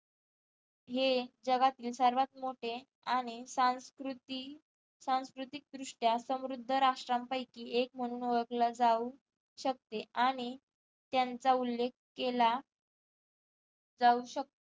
हे जगातील सर्वात मोठे आणि संस्कृती सांस्कृतिक दृष्ट्या समृद्ध राष्ट्रांपैकी एक म्हणून ओळखला जाऊ शकते आणि त्यांचा उल्लेख केला जाऊ शक